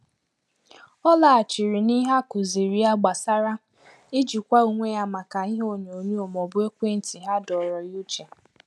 Ọ laghachiri n’ihe a kụziri ya gbasara ijikwa onwe ya maka ihe onyo-onyo maọbụ ekwentị ha adọrụ ya uche